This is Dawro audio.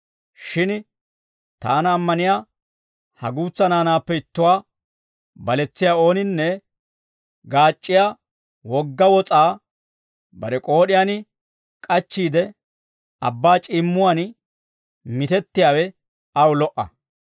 Shin taana ammaniyaa ha guutsa naanaappe ittuwaa baletsiyaa ooninne, gaac'c'iyaa wogga wos'aa bare k'ood'iyaan k'achchiide, abbaa c'iimmuwaan mitettiyaawe aw lo"a.